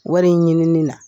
Wari in ɲinini na.